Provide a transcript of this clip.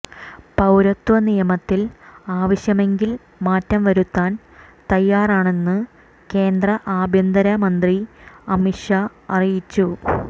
പൌരത്വ നിയമത്തിൽ ആവശ്യമെങ്കിൽ മാറ്റം വരുത്താൻ തയ്യാറാണെന്ന് കേന്ദ്ര ആഭ്യന്തര മന്ത്രി അമിത് ഷാ അറിയിച്ചു